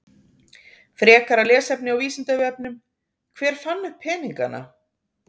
Frekara lesefni á Vísindavefnum: Hver fann upp peningana?